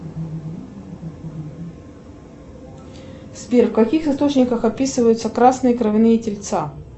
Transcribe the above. сбер в каких источниках описываются красные кровяные тельца